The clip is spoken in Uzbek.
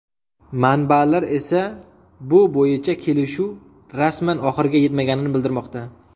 Manbalar esa bu bo‘yicha kelishuv rasman oxiriga yetmaganini bildirmoqda.